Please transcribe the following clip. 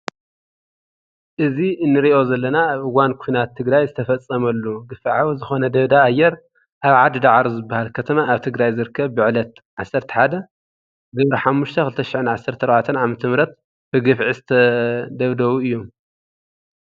እዚ እንሪኦ ዘለና ኣብ እዋን ኩናት ትግራይ ዝተፈፀመሉ ግፍዓዊ ዝኮነ ደብዳብ ኣየር ኣብ ዓዲ ዳዕሮ ዝበሃል ከተማ ኣብ ትግራይ ዝርከብ ብዕለት 11/05/2014 ዓ/ም ብግፍዒ ዝተደብደቡ እዮም።